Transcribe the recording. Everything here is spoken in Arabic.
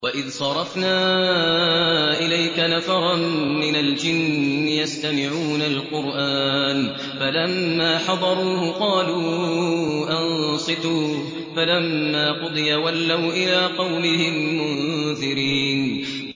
وَإِذْ صَرَفْنَا إِلَيْكَ نَفَرًا مِّنَ الْجِنِّ يَسْتَمِعُونَ الْقُرْآنَ فَلَمَّا حَضَرُوهُ قَالُوا أَنصِتُوا ۖ فَلَمَّا قُضِيَ وَلَّوْا إِلَىٰ قَوْمِهِم مُّنذِرِينَ